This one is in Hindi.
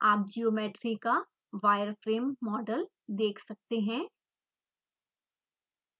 आप ज्योमेट्री का wireframe model देख सकते हैं